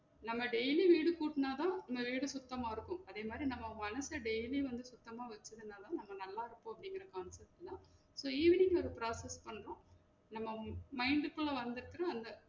நம்ம daily வீடு கூட்டுனாத நம்ம வீடு சுத்தமா இருக்கும் அதே மாறி நம்ம மனச daily வந்து சுத்தம்மா வச்சு இருந்தா தான் நம்ம நல்லா இருப்போம் அப்படிங்குற concept ல தான் so evening அது processes பண்ணுறோம் நம்ம mind க்குள்ள வந்து அந்த